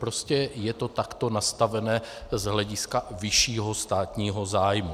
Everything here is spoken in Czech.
Prostě je to takto nastavené z hlediska vyššího státního zájmu.